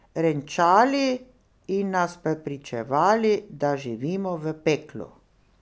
Renčali in nas prepričevali, da živimo v peklu.